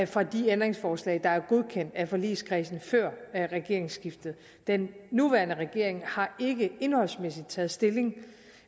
fra de ændringsforslag der blev godkendt af forligskredsen før regeringsskiftet den nuværende regering har ikke indholdsmæssigt taget stilling